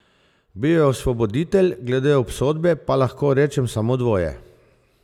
Bil je osvoboditelj, glede obsodbe pa lahko rečem samo dvoje.